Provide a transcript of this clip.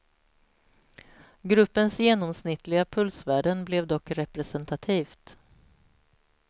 Gruppens genomsnittliga pulsvärden blev dock representativt.